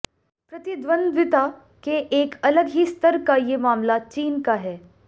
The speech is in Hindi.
प्रतिद्वंद्विता के एक अलग ही स्तर का ये मामला चीन का है